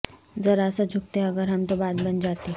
ذرا سا جھکتے اگر ہم تو بات بن جاتی